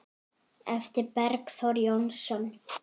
eftir Bergþór Jónsson